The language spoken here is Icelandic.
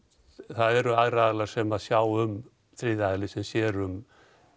það eru aðrir aðilar sem sjá um þriðji aðili sem sér um